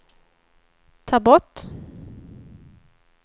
ta bort